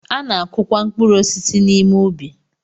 A na-akụ kwa mkpụrụ osisi n'ime ubi.